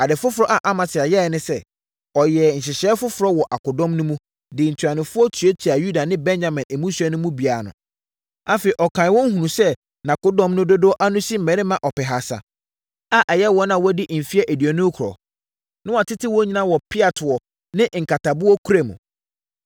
Ade foforɔ a Amasia yɛeɛ ne sɛ, ɔyɛɛ nhyehyɛeɛ foforɔ wɔ akodɔm no mu, de ntuanofoɔ tuatuaa Yuda ne Benyamin mmusua no mu biara ano. Afei, ɔkanee wɔn hunuu sɛ nʼakodɔm no dodoɔ ano si mmarima ɔpehasa a ɛyɛ wɔn a wɔadi mfeɛ aduonu rekorɔ, na wɔatete wɔn nyinaa wɔ peatoɔ ne nkataboɔkura mu.